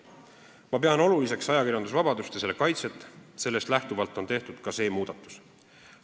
Ma pean oluliseks ajakirjandusvabadust ja selle kaitset, sellest lähtuvalt on tehtud ka see muudatus.